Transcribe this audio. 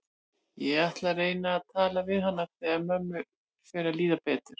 Ég ætla að reyna að tala við hana þegar mömmu fer að líða betur.